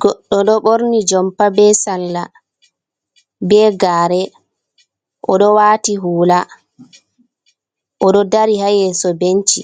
Goɗɗo Ɗo Ɓorni Jompa, Ɓe Salla Ɓe Gare Odo Wati Hula, Oɗo Ɗari Ha Yeso Benci.